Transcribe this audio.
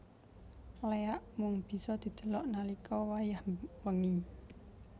Léak mung bisa didelok nalika wayah wengi